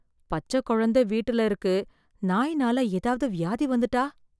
பச்சைக்குழந்தை வீட்டுல இருக்கு, நாய்னால ஏதாவது வியாதி வந்துட்டா?